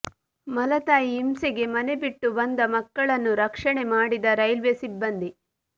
ಮಲತಾಯಿ ಹಿಂಸೆಗೆ ಮನೆ ಬಿಟ್ಟು ಬಂದ ಮಕ್ಕಳನ್ನು ರಕ್ಷಣೆ ಮಾಡಿದ ರೈಲ್ವೆ ಸಿಬ್ಬಂದಿ